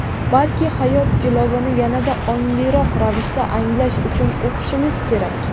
balki hayot jilovini yanada ongliroq ravishda anglash uchun o‘qishimiz kerak.